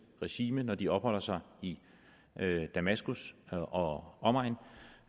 regime når de opholder sig i damaskus og omegn